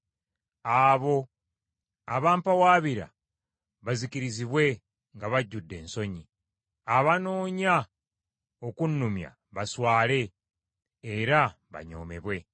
Abo abampawaabira bazikirizibwe nga bajjudde ensonyi, abanoonya okunnumya baswale era banyoomebwe.